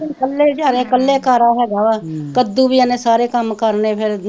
ਇਕੱਲੇ ਜਾਣੇ ਇਕੱਲੇ ਕਾਰਾ ਹੈਗਾ ਵਾ, ਕੱਦੂ ਵੀ ਉਹਨੇ ਸਾਰੇ ਕੰਮ ਕਰਨੇ ਫੇਰ